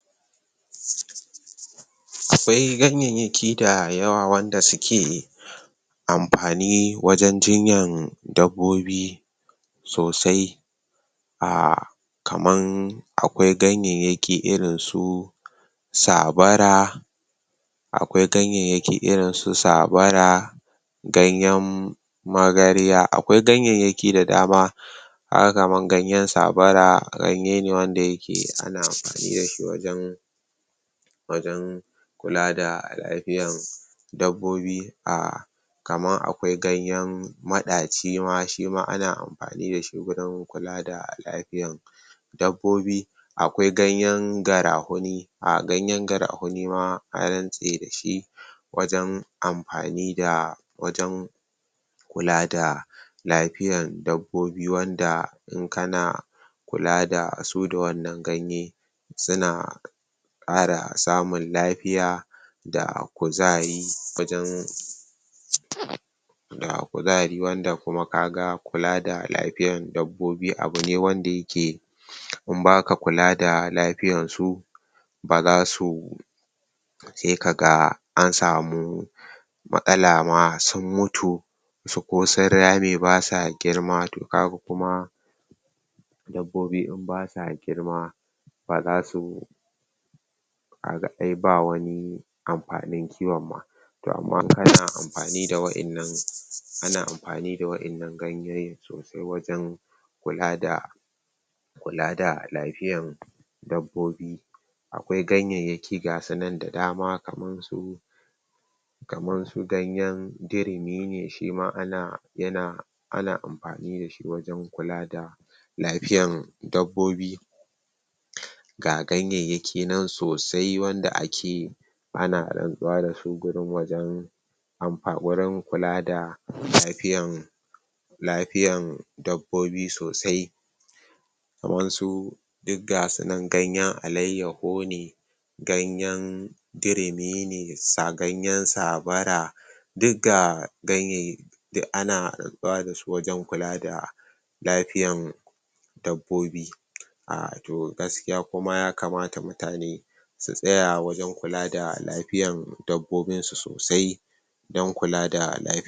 Akwai ganyyayyaki dayawa wanda suke amfani wajen jinyan dabbobi sosai??? Akwai ganyayyaki irin su tsabara, ganyen magarya. Akwai ganyayyaki da dama kaga kamar ganyen tsabara ganye ne wanda yake ana amfani da shi wajen? kula da lafiyan dabbobi a kaman akwai ganyen maɗaci ma shima ana amfani da shi wurin kula da lafiyan dabbobi akwai ganyen garahuni um Ganyen garahuni ma an rantse da shi? wajen kula da lafiyan dabbobi wanda in kana kula da su da wannan ganye suna ƙara samun lafiya? da kuzari wanda kuma kaga kula da lafiyar dabobbi abu ne wanda yake in baka kula da lafiya su baza su sai kaga an samu matsala ma saun mutu? ko sun rame ba sa girma dabbobi in ba sa girma baza su ka ga ai ba wani amfanin kiwon ma to amma in kana amfani da wa'innan ana amfani da wa'innan ganyoyin sosai wajen? kula da lafiyan dabbobi Akwai ganyayyaki ga su nan da dama kamar su? ganyen dirimi ne shima? ana amfani da shi wurin kula da lafiyan dabobbi ga ganyayyaki nan sosai wanda ake ana rantsuwa da su? wurin kula da lafiyan? dabbobi sosai kamar su duk ga su nan ganyen alayyaho ne ganyen dirimi ne, ganeyn tsabara duk ga ganyayyaki duk ana bada su wajen kula da lafiyan dabbobi um toh gaskiya kuma ya kamata mutaneum su tsaya wajen kula da lafiyan dabbobin su sosai don kula da lafiyan su.